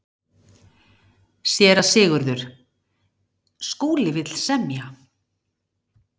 SÉRA SIGURÐUR: Skúli vill semja.